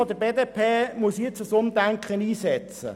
Für die BDP muss jetzt ein Umdenken einsetzen.